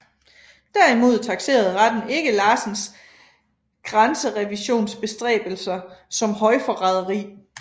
Derimod takserede retten ikke Larsens grænserevisionsbestræbelser som højforræderi